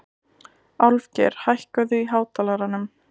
Álfgeir, hækkaðu í hátalaranum.